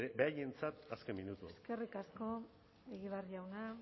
beraientzat azken minutu hau eskerrik asko egibar jauna